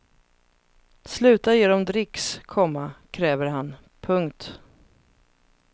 Sluta ge dem dricks, komma kräver han. punkt